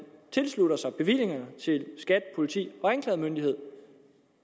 tilslutter sig altså bevillingerne til skat politi og anklagemyndighed